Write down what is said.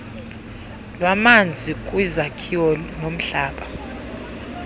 lwamanzi kwizakhiwo nomhlaba